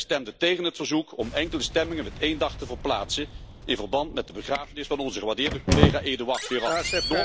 Zij stemden tegen het verzoek om enkel de stemmingen met één dag te verplaatsen in verband met de begrafenis van onze gewaardeerde collega Edouard Ferrand.